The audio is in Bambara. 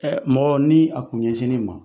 Mɔgɔ ni a kun ɲɛsini ma